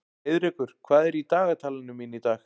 Heiðrekur, hvað er í dagatalinu mínu í dag?